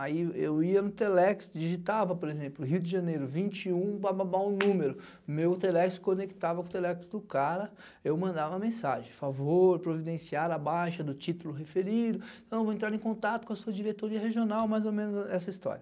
Aí eu ia no Telex, digitava, por exemplo, Rio de Janeiro vinte e um, bababa um número, meu Telex conectava com o Telex do cara, eu mandava mensagem, favor providenciar a baixa do título referido, então vou entrar em contato com a sua diretoria regional, mais ou menos essa história.